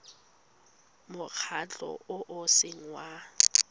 mokgatlho o o seng wa